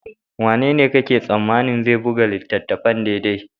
Wanene kake tsammanin zai buga littattafan daidai?